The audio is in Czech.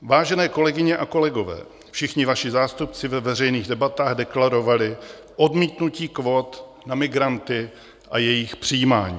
Vážené kolegyně a kolegové, všichni vaši zástupci ve veřejných debatách deklarovali odmítnutí kvót na migranty a jejich přijímání.